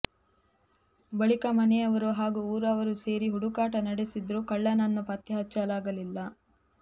ಬಳಿಕ ಮನೆಯವರು ಹಾಗೂ ಊರವರು ಸೇರಿ ಹುಡುಕಾಟ ನಡೆಸಿದರೂ ಕಳ್ಳನನ್ನು ಪತ್ತೆಹಚ್ಚ ಲಾಗಲಿಲ್ಲ